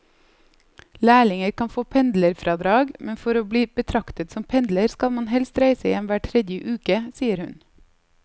Lærlinger kan få pendlerfradrag, men for å bli betraktet som pendler skal man helst reise hjem hver tredje uke, sier hun.